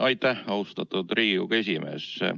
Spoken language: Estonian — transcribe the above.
Aitäh, austatud Riigikogu esimees!